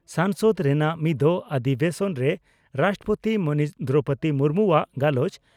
ᱥᱚᱝᱥᱚᱫ ᱨᱮᱱᱟᱜ ᱢᱤᱫᱚᱜ ᱚᱫᱷᱤᱵᱮᱥᱚᱱ ᱨᱮ ᱨᱟᱥᱴᱨᱚᱯᱳᱛᱤ ᱢᱟᱹᱱᱤᱡ ᱫᱨᱚᱣᱯᱚᱫᱤ ᱢᱩᱨᱢᱩᱣᱟᱜ ᱜᱟᱞᱚᱪ